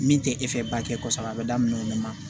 Min tɛ e fɛ ba kɛ kɔsɛbɛ a bɛ daminɛ o de la